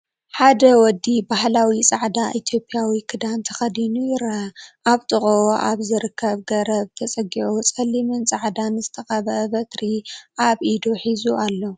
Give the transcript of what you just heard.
ሓደ ወዲ ባህላዊ ጻዕዳ ኢትዮጵያዊ ክዳን ተኸዲኑ ይርአ። ኣብ ጥቓኡ ኣብ ዝርከብ ገረብ ተጸጊዑ ጸሊምን ጻዕዳን ዝተቐብአ በትሪ ኣብ ኢዱ ሒዙ ኣሎ።